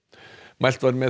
mælt var með